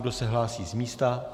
Kdo se hlásí z místa?